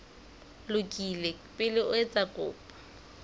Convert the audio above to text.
lokile pele o etsa kopo